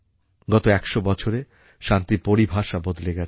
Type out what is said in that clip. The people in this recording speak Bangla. গত একশো বছরে শান্তির পরিভাষা বদলে গেছে